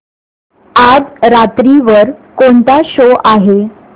आज रात्री वर कोणता शो आहे